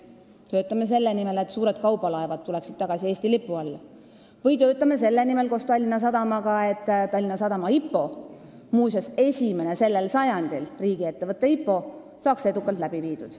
Me töötame selle nimel, et suured kaubalaevad tuleksid tagasi Eesti lipu alla, ja koos Tallinna Sadamaga selle nimel, et Tallinna Sadama IPO – muuseas, selle sajandi esimene riigiettevõtte IPO – saaks edukalt läbi viidud.